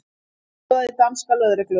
Aðstoðaði danska lögreglu